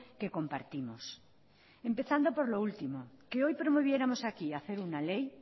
que compartimos empezando por lo último que hoy promoviéramos aquí hacer una ley